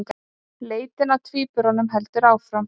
Leitin að tvíburunum heldur áfram